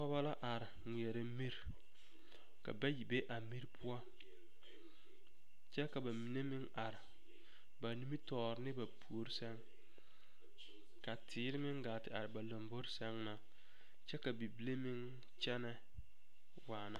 Pɔgeba la are ŋmeɛrɛ miri ka bayi be a miri poɔ kyɛ ka ba mine meŋ are ba nimitɔɔre ne ba puori sɛŋ ka teere gaa te are ba lombori sɛŋ na kyɛ ka bibile meŋ kyɛnɛ waana.